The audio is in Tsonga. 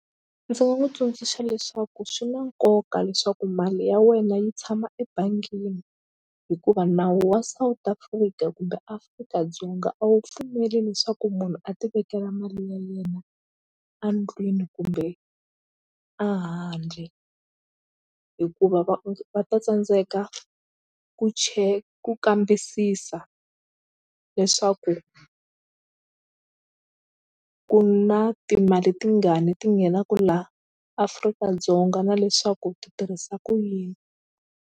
Ndzi nga n'wi tsundzuxa leswaku swi na nkoka leswaku mali ya wena yi tshama ebangini hikuva nawu wa South Africa kumbe Afrika-Dzonga a wu pfumeli leswaku munhu a ti vekela mali ya yena a ndlwini kumbe a handle hikuva va va ta tsandzeka ku ku kambisisa leswaku ku na timali ti nga ni ti nghenaku la Afrika-Dzonga na leswaku ti tirhisa ku yini.